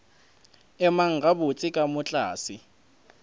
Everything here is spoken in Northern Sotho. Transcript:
emang gabotse ka moo tlase